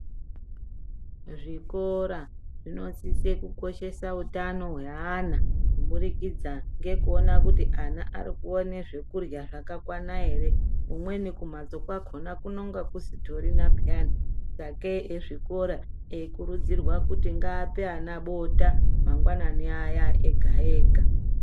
Zvikora zvinosise kukoshesa utano hweana, kuburikidza ngekuona kuti, ana ari kuone zvekurya zvakakwana ere. Umweni kumhatso kwakhona kunonga kusitorina pheyani. Sakei ekuzvikora, eikurudzirwa kuti ngaape ana bota, mangwanani aya ega-ega.